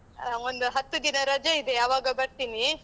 ಹ, ಒಂದು ಹತ್ತು ದಿನ ರಜೆ ಇದೆ, ಆವಾಗ ಬರ್ತೀನಿ.